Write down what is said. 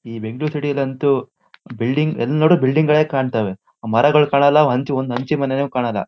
E Bengaluru city ಲ್ಲ ಅಂತು building ಎಲ್ಲ್ ನೋಡಿದ್ರು ಬಿಲ್ಡಿಂಗ್ ಗಳೇ ಕಾಣ್ತವೆ. ಮರಗಳ್ ಕಾಣಲ್ಲ ಹಂಚ್ ಒಂದ್ ಹಂಚಿನ್ ಮನೇನು ಕಾಣಲ್ಲ--